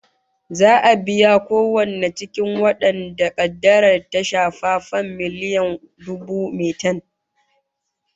Za'a biya kowanne cikin wadanda kaddarar ta shafa fam miliyan dubu metan